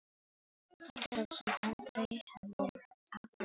Og þá gerðist það sem aldrei hefði átt að gerast.